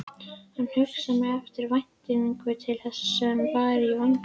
Hann hugsaði með eftirvæntingu til þess sem var í vændum.